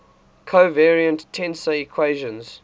covariant tensor equations